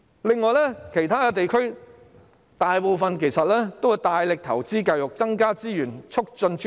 此外，大部分其他地區均大力投資教育，增加資源，促進專業。